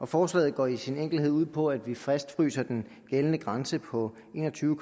forslaget går i al sin enkelhed ud på at vi fastfryser den gældende grænse på en og tyve